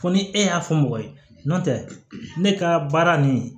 Fo ni e y'a fɔ mɔgɔ ye n'o tɛ ne ka baara nin